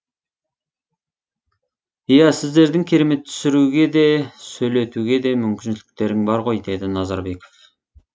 иә сіздердің керемет түсіруге де сөйлетуге де мүмкіншіліктерің бар ғой деді назарбеков